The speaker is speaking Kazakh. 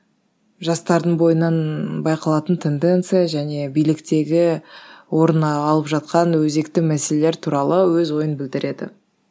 жастардың бойынан байқалатын тенденция және биліктегі орын ы алып жатқан өзекті мәселелер туралы өз ойын білдіреді